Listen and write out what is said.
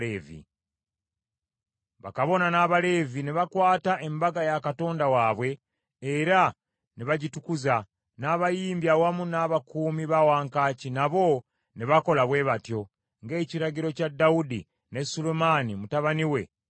Bakabona n’Abaleevi ne bakwata embaga ya Katonda waabwe era ne bagitukuza, n’abayimbi awamu n’abakuumi ba wankaaki nabo ne bakola bwe batyo, ng’ekiragiro kya Dawudi ne Sulemaani mutabani we bwe kyali.